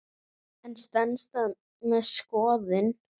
En stenst það skoðun?